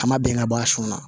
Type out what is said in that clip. An ma bɛn ka bɔ a sun na